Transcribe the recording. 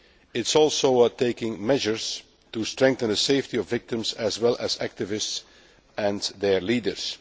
It is also taking measures to strengthen the safety of victims as well as activists and their leaders.